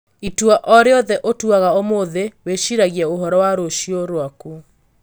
Itua o rĩothe ũtuaga ũmũthĩ wĩciragia ũhoro wa rũciũ rwaku.